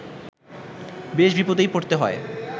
বেশ বিপদেই পড়তে হয়